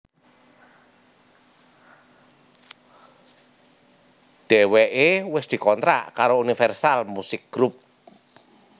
Dheweké wis dikontrak karo Universal Musik Group